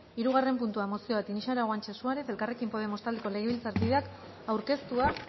hirugarren puntua mozioa tinixara guanche suárez elkarrekin podemos taldeko legebiltzarkideak aurkeztua